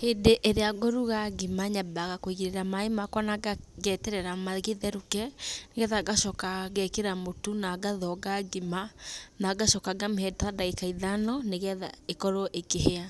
Hĩndĩ ĩrĩa ngũruga ngima, nyambaga kũigĩrĩra maaĩ makwa na ngeterera magĩtherũke, nĩgetha ngacoka ngekĩra mũtu na ngathonga ngima, na ngacoka ngamĩhe ta ndagĩka ithano nĩgetha ĩkorwo ĩkĩhĩa.